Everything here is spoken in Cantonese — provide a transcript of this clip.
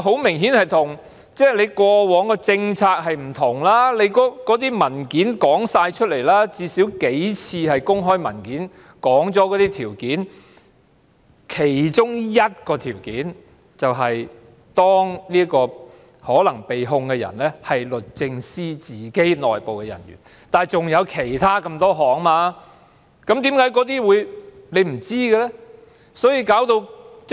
明顯地，這與過往的政策做法不同，最低限度，也有數份公開文件指出了相關情況，其中一個情況，是當這名可能被控人士是律政司的內部人員，但仍然有其他數個情況，為何她不清楚呢？